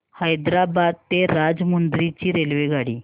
हैदराबाद ते राजमुंद्री ची रेल्वेगाडी